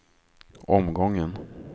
omgången